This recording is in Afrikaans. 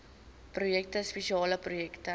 projekte spesiale projekte